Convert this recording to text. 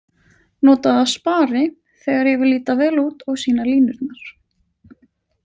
Nota það spari, þegar ég vil líta vel út og sýna línurnar.